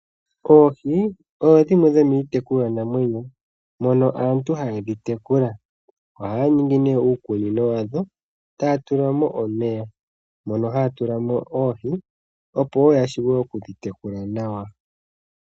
Oohi odho dhimwe dhomii tekulwanamwenyo mono aantu haye dhi tekula. Ohaya ningi nee uukunino wadho taya tula mo omeya, mono haya tulamo oohi opo wo ya shuwe okudhi tekula nawa.